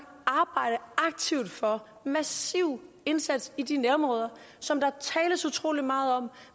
arbejde aktivt for en massiv indsats i de nærområder som der tales utrolig meget om